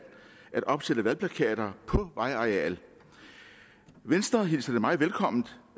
at opsætte valgplakater på vejareal venstre hilser det meget velkomment